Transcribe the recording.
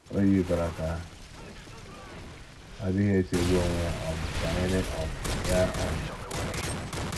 O yikwara ka ọ dịghị echegbu onwe ya um banyere um ya um.